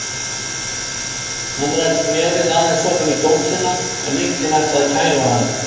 Hann rak nefið aðeins ofan í dósina en lyktin ætlaði að kæfa hann.